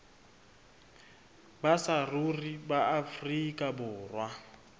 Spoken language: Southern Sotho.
ba saruri ba afrika borwa